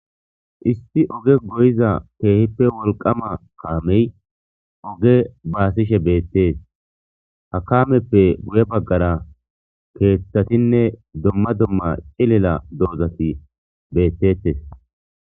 issi oge goyiza keehippe wolqama kaamey oge baasishe beettees ha kaameppe guye baggara keeththatinne domma domma cilela doozati beettettes